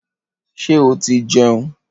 Ṣé oti jẹun?